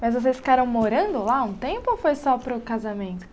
Mas vocês ficaram morando lá um tempo ou foi só para o casamento?